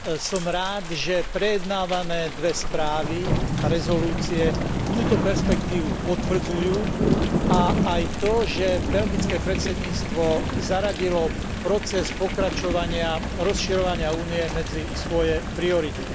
Som rád, že prejednávané dve správy a rezolúcie túto perspektívu potvrdzujú a aj to, že belgické predsedníctvo zaradilo proces pokračovania rozširovania Únie medzi svoje priority.